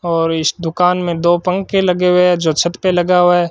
और इस दुकान में दो पंखे लगे हुए हैं जो छत पे लगा हुआ है।